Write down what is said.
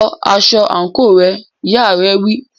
Lọ aṣọ àǹkóò rẹ, ìyá rẹ̀ wí.